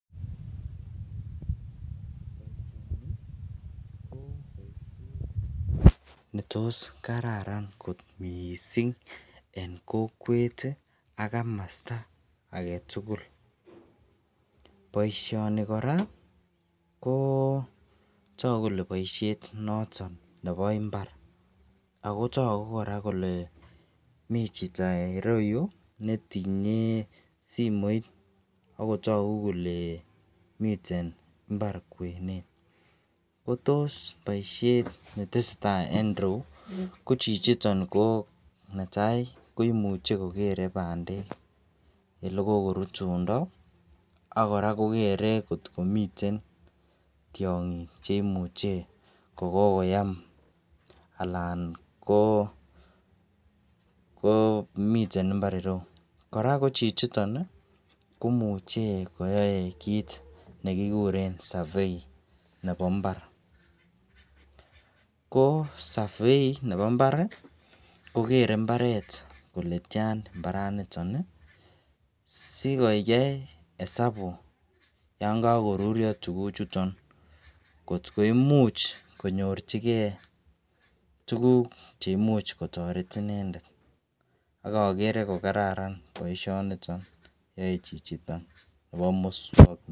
Boisioni ko boisiet nekararan kot missing. En kokwet ak kamosto agetugul. Boisioni kora ko tagu kole boisiet noton nebo imbar, ako tagu kora kole mi chito ireu netinye simoit akotagu kole miten imbar kwenet. Kotos boisiet netesetai en ireu kotos chichito netai koimuche kokere bandek olekokorutundo ak akora kokere kot komiten tiang'ik cheimuche kokoyam anan ko miten imbar ireu, kora ko komamuche koyai kit nekikuren survey nebo imbar ko survey nebo mbar kokere imbaret kole tian imbaret niton ih sikoyai esapu yaan kokorurio tukuchuton kot koimuch konyorchike tuguk chemakienge akere kokaranan boisiani yae chichiton nebo mukswanotet.